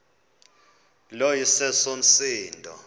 lo iseso msindo